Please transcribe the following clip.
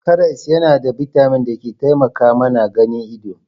Karas yana da bitamin da ke taimaka mana ganin ido.